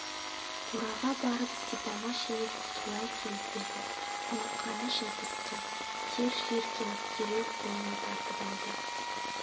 қораға барып сипама шелек сұлы әкеліп берді алақаны жылбысқы тер жиіркеніп дереу қолын тартып алды